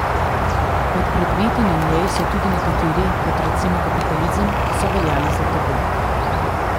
Med predmeti na njej so tudi nekateri, kot recimo kapitalizem, ki so veljali za tabu.